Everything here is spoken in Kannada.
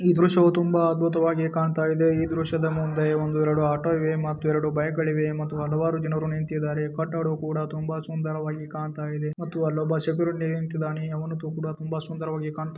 ಈ ದೃಶ್ಯವೂ ತುಂಬಾ ಅದ್ಭುತವಾಗಿ ಕಾಣ್ತಾ ಇದೆ ಇದು ದೃಶ್ಯದಲ್ಲಿ ಮುಂದೆ ಒಂದು ಎರಡು ಆಟೋ ಇದೆ ಮತ್ತೆರಡು ಬೈಕ್ ಗಳಿವೆ ಮತ್ತೆ ಹಲವಾರು ಜನರು ನಿಂತಿದ್ದಾರೆ ಕಟ್ಟಡವು ಕೂಡಾ ತುಂಬಾ ಸುಂದರವಾಗಿ ಕಾಣ್ತಾ ಇದೆ ಮತ್ತು ಅಲ್ಲಿ ಒಬ್ಬ ಸೆಕ್ಯೂರಿಟಿ ನಿಂತಿದ್ದಾನೆ ಅವನು ಕೂಡ ತುಂಬಾ ಸುಂದರವಾಗಿ ಕಾಣ್ತಾ --